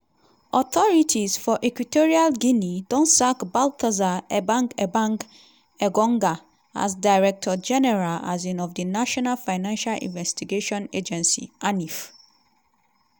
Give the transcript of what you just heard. authorities for equatorial guinea don sack baltasar ebang ebang engonga as director general um of di national financial investigation agency (anif).